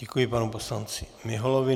Děkuji panu poslanci Miholovi.